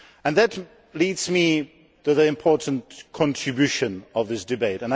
That leads me to the important contributions in this debate.